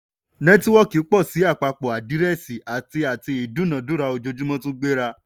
nẹ́tíwọ́kì pọ̀ sí àpapọ àdírẹ́ẹ̀sì àti àti ìdúnádúrà ojoojúmọ́ tún gbéra.